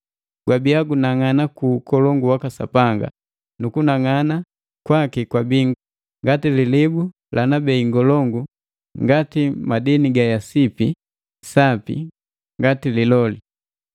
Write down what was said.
Gwabia gunang'ana ku ukolongu waka Sapanga, nukunang'ana kwaki kwabii ngati lilibu lana bei ngolongu ngati yasipi, sapi ngati Liloli.